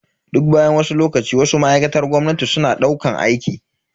Duk bayan wasu lokaci, Wasu ma'aikatar gwamnati suna daukan aiki.